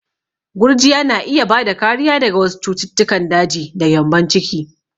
Gurjiya na iya bada kariya daga wasu cututtukan daji da gyambon ciki.